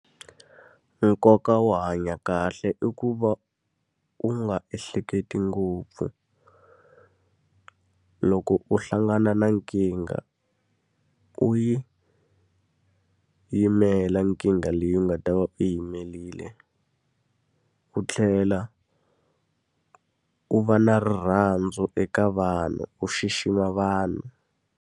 Nkoka wo hanya kahle i ku va u nga ehleketi ngopfu. Loko u hlangana na nkingha, u yi yimela nkingha leyi u nga ta va u yi yimerile. U tlhela u va na rirhandzu eka vanhu, u xixima vanhu.